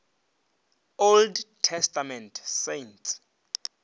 old testament saints